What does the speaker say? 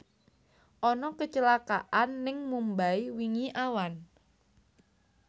Ana kecelakaan ning Mumbai wingi awan